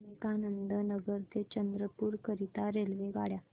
विवेकानंद नगर ते चंद्रपूर करीता रेल्वेगाड्या